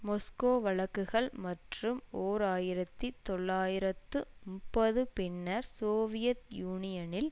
மொஸ்கோ வழக்குகள் மற்றும் ஓர் ஆயிரத்தி தொள்ளாயிரத்து முப்பது பின்னர் சோவியத் யூனியனில்